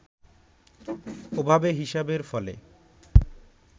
ওভাবে হিসাবের ফলে